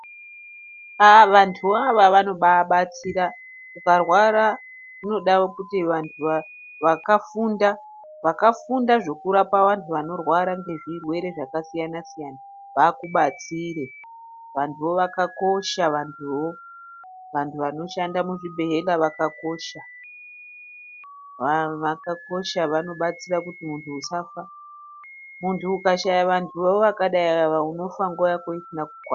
Aaaa vantuvo ava vanobabatsira ukarwara zvinoda kuti vantu vakafunda, vakafunda zvekurapa vantu vanorwara ngezvirwere zvakasiyana siyana vakubatsire vantuvo zvakakosha vantuvo, vantu vanoshanda muzvibhedhlera zvakakosha zvakakosha vanobatsira kuti muntu usafa muntu ukashayawo vantuvo zvakadai ava unofa nguwa Yako isina kukwana.